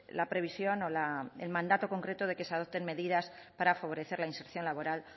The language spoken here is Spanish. la previsión o el mandato concreto de que se adopten medidas para favorecer la inserción laboral